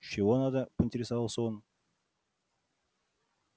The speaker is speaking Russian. чего надо поинтересовался он